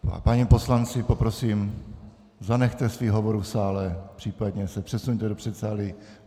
Páni poslanci, poprosím, zanechte svých hovorů v sále, případně se přesuňte do předsálí.